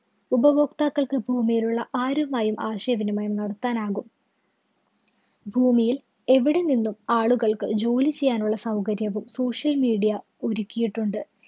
ഉപഭോക്താക്കള്‍ക്ക് ഭൂമിയിലുള്ള ആരുമായും ആശയവിനിമയം നടത്താനാകും. ഭൂമിയില്‍ എവിടെ നിന്നും ആളുകള്‍ക്ക് ജോലി ചെയ്യാനുള്ള സൗകര്യവും social media ഒരുക്കിയിട്ടുണ്ട്.